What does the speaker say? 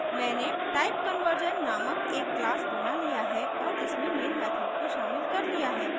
मैंने typeconversion नामक एक class बना लिया है और इसमें main method को शामिल कर लिया है